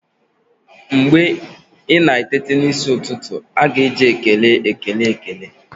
Mgbe ị na-eteta n'isi ụtụtụ, a ga-eji ekele ekele ekele